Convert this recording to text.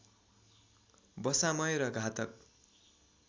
वसामय र घातक